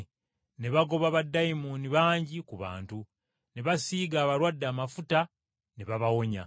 Ne bagoba baddayimooni bangi ku bantu, ne basiiga abalwadde amafuta ne babawonya.